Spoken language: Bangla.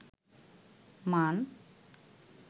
মান